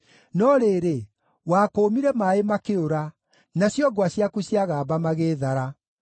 No rĩrĩ, wakũũmire maaĩ makĩũra, nacio ngwa ciaku ciagamba magĩĩthara;